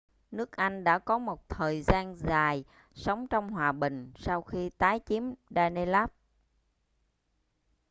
nước anh đã có một thời gian dài sống trong hòa bình sau khi tái chiếm danelaw